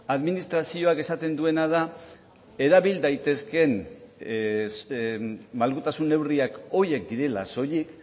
administrazioak esaten duena da erabil daitezkeen malgutasun neurriak horiek direla soilik